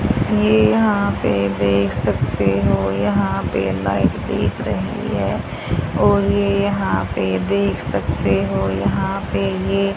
ये यहां पे देख सकते हो यहां पे लाइट दिख रही है और ये यहां पे देख सकते हो यहां पे ये--